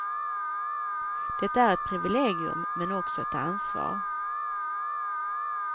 Det är ett privilegium men också ett ansvar.